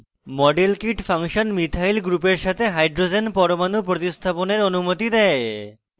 model kit function methyl methyl গ্রুপের সাথে hydrogen পরমাণু প্রতিস্থাপনের অনুমতি দেয়